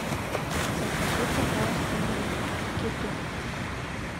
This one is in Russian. закажи пожалуйста рыбу кету